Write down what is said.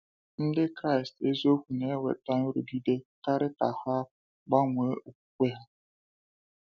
Ndị Kraịst eziokwu na-enweta nrụgide karị ka ha gbanwee okwukwe ha.